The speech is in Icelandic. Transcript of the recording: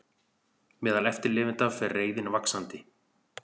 Meðal eftirlifenda fer reiðin vaxandi